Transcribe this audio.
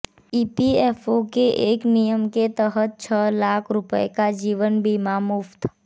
EPFO के एक नियम के तहत छह लाख रुपये का जीवन बीमा मुफ्त